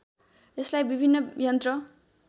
यसलाई विभिन्न यन्त्र